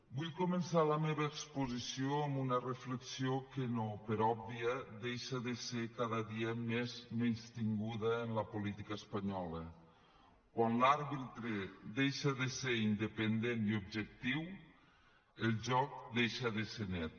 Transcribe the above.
vull començar la meva exposició amb una reflexió que no per òbvia deixa de ser cada dia més menystinguda en la política espanyola quan l’àrbitre deixa de ser independent i objectiu el joc deixa de ser net